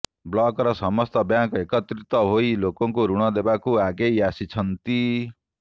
ବ୍ଲକର ସମସ୍ତ ବ୍ୟାଙ୍କ ଏକତ୍ରିତ ହୋଇ ଲୋକଙ୍କୁ ଋଣ ଦେବାକୁ ଆଗେଇ ଆସିଛନ୍ତି